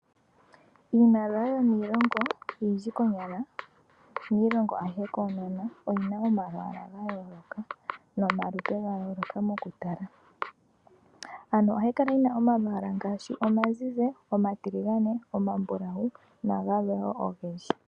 Iimaliwa yomiilongo oyindji konyala miilongo ayihe koonono, oyina oma lwaala ga yooloka nomalupe ga yooloka mo kutala. Ano ohayi kala yina omalwaala ngaashi, omazizi, omatiligane, omambulawu nagalwe woo ogendji.